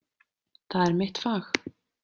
Það er mitt fag.